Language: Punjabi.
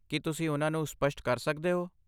ਕੀ ਤੁਸੀਂ ਉਹਨਾਂ ਨੂੰ ਸਪਸ਼ਟ ਕਰ ਸਕਦੇ ਹੋ?